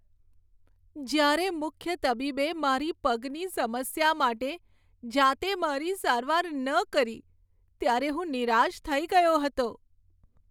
જ્યારે મુખ્ય તબીબે મારા પગની સમસ્યા માટે જાતે મારી સારવાર ન કરી, ત્યારે હું નિરાશ થઈ ગયો હતો.